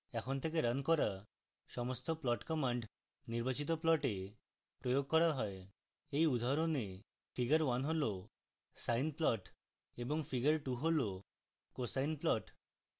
এখন থেকে রান করা সমস্ত plot commands নির্বাচিত plot প্রয়োগ করা হয়